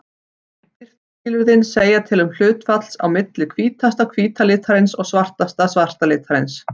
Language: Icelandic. Birtuskilin segja til um hlutfallið á milli hvítasta hvíta litarins og svartasta svarta litarins.